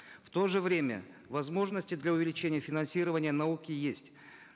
в то же время возможности для увеличения финансирования науки есть